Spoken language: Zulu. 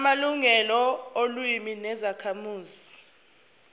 amalungelo olimi lwezakhamuzi